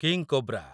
king cobra